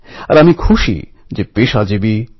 আমি চন্দ্রশেখর আজাদের কথা বলছি